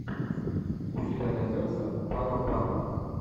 у тебя найдется паропанк